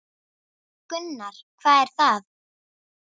Gunnar: Hvað er það?